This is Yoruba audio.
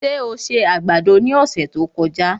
Ṣé o se àgbàdo ní ọ̀sẹ̀ tí ó kọjá?